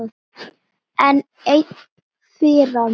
Enn ein firran.